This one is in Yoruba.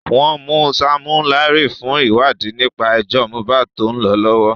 Wọ́n mú Sammy Larry fún ìwádìí nípa ẹjọ́ Mohbad tó ń lọ lọ́wọ́.